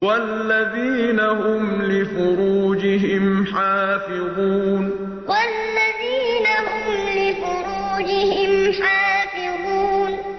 وَالَّذِينَ هُمْ لِفُرُوجِهِمْ حَافِظُونَ وَالَّذِينَ هُمْ لِفُرُوجِهِمْ حَافِظُونَ